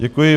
Děkuji.